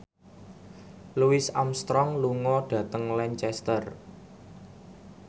Louis Armstrong lunga dhateng Lancaster